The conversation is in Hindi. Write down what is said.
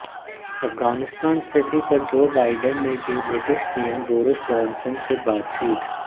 अफगानिस्तान स्थिति पर जो बाइडेन ने की ब्रिटिश पीएम बोरिस जॉनसन से बातचीत